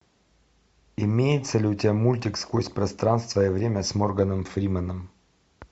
имеется ли у тебя мультик сквозь пространство и время с морганом фрименом